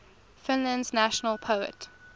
finland's national poet